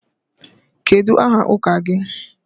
Kedu aha ụka gị?